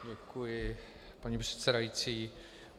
Děkuji, paní předsedající.